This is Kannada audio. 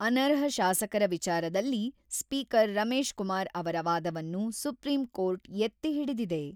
ಅನರ್ಹ ಶಾಸಕರ ವಿಚಾರದಲ್ಲಿ ಸ್ಪೀಕರ್ ರಮೇಶ್‌ಕುಮಾರ್ ಅವರ ವಾದವನ್ನು ಸುಪ್ರೀಂ ಕೋರ್ಟ್ ಎತ್ತಿ ಹಿಡಿದಿದೆ.